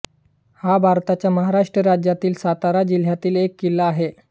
हा भारताच्या महाराष्ट्र राज्यातील सातारा जिल्ह्यातील एक किल्ला आहे